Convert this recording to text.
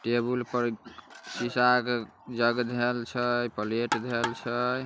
Table पर बिछा के धैल छै।